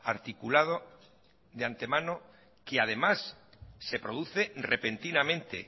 articulado de antemano que además se produce repentinamente